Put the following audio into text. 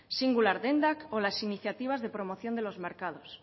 singular dendak o las iniciativas de promoción de los mercados